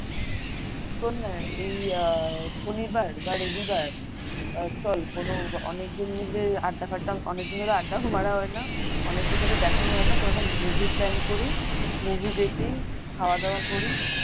শোননা এই আহ শনিবার বা রবিবার আ চল কোন অনেক জন মিলে আড্ডা ফাড্ডা অনেকদিন ধরে আড্ডাটা ও মারা হয় না অনেকের সাথে দেখা হয় না একটা movie plan করি movie দেখি খাওয়া-দাওয়া করি।